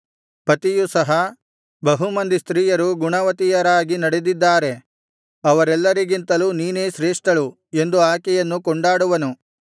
ಪತಿಯು ಸಹ ಬಹುಮಂದಿ ಸ್ತ್ರೀಯರು ಗುಣವತಿಯರಾಗಿ ನಡೆದಿದ್ದಾರೆ ಅವರೆಲ್ಲರಿಗಿಂತಲೂ ನೀನೇ ಶ್ರೇಷ್ಠಳು ಎಂದು ಆಕೆಯನ್ನು ಕೊಂಡಾಡುವನು